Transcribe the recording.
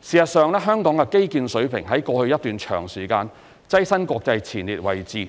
事實上，香港的基建水平在過去一段長時間躋身國際前列位置，